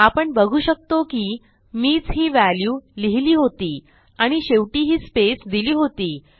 आपण बघू शकतो की मीच ही व्हॅल्यू लिहिली होती आणि शेवटी ही स्पेस दिली होती